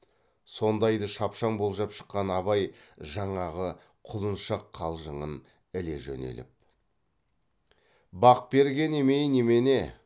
сондайды шапшаң болжап шыққан абай жаңағы құлыншақ қалжыңын іле жөнеліп бақ берген емей немене